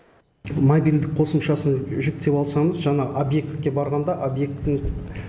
мобильдік қосымшасын жүктеп алсаңыз жаңа объектке барғанда объекттің